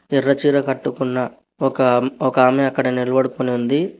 ఎర్ర చీర కట్టుకున్న ఒక ఆమె అక్కడ నిల్బడుకుని ఉంది.